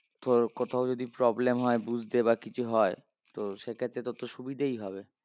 তোর কোথাও যদি problem হয় বুঝতে বা কিছু হয় তো সেক্ষেত্রে তো তোর সুবিধেই হবে